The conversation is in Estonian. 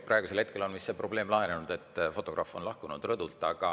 Praegusel hetkel on vist see probleem lahenenud, fotograaf on rõdult lahkunud.